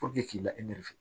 k'i lafiya